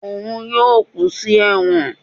òun yóò kú sí ẹwọ́n